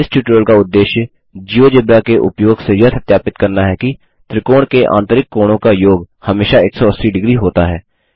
इस ट्यूटोरियल का उद्देश्य जियोजेब्रा के उपयोग से यह सत्यापित करना है कि त्रिकोण के आंतरिक कोणों का योग हमेशा 180 डिग्री होता है